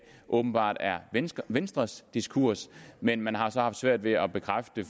åbenbart er venstres venstres diskurs men man har så haft svært ved at bekræfte